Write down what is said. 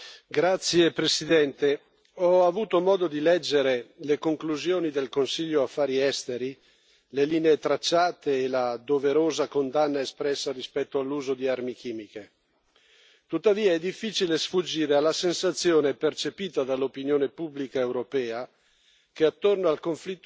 Signor Presidente, onorevoli colleghi, ho avuto modo di leggere le conclusioni del Consiglio Affari esteri, le linee tracciate e la doverosa condanna espressa rispetto all'uso di armi chimiche. Tuttavia, è difficile sfuggire alla sensazione percepita dall'opinione pubblica europea